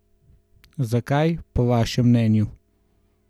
Zakaj, po vašem mnenju?